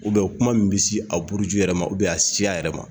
kuma min bɛ se a buruju yɛrɛ ma a siya yɛrɛ ma